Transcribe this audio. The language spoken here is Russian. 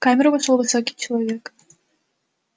в камеру вошёл высокий человек